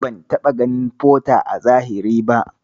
Ban taɓa ganin Porter a zahiri ba.